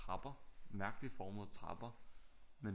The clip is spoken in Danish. Trapper mærkeligt formede trapper